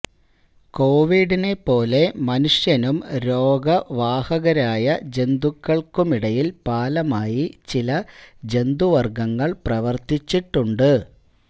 കോവിഡിനെപ്പോലെ മനുഷ്യനും രോഗ വാഹകരായ ജന്തുക്കള്ക്കുമിടയില് പാലമായി ചില ജന്തുവര്ഗങ്ങള് പ്രവര്ത്തിച്ചിട്ടുണ്ട്